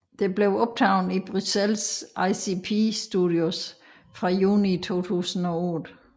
Det blev optaget i Bruxelles ICP studios fra juni 2008